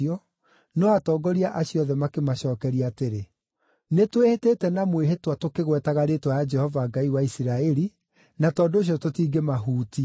no atongoria acio othe makĩmacookeria atĩrĩ, “Nĩtwĩhĩtĩte na mwĩhĩtwa tũkĩgwetaga rĩĩtwa rĩa Jehova Ngai wa Isiraeli, na tondũ ũcio tũtingĩmahutia.